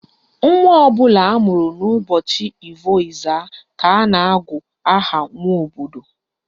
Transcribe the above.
Nwa ọbụla amụrụ n'ụbọchị Ivo Ezza ka a na-agụ aha Nwobodo